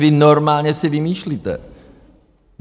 Vy normálně si vymýšlíte.